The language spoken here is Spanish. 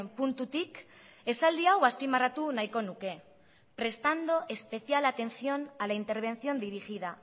puntutik esaldi hau azpimarratu nahiko nuke prestando especial atención a la intervención dirigida